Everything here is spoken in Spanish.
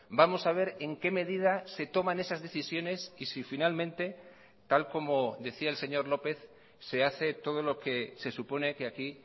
vamos a ver en qué medida se toman esas decisiones y si finalmente tal como decía el señor lópez se hace todo lo que se supone que aquí